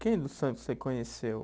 Quem do Santos você conheceu?